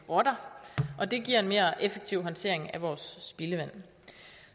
rotter og det giver en mere effektiv håndtering af vores spildevand